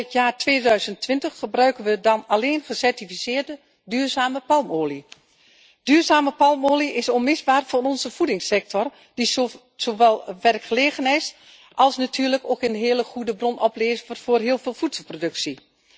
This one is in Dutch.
Vóór het jaar 2020 gebruiken we dan alleen gecertificeerde duurzame palmolie. Duurzame palmolie is onmisbaar voor onze voedingssector, die zowel werkgelegenheid als natuurlijk ook een hele goede bron oplevert voor heel veel voedselproductie.